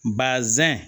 Basɛn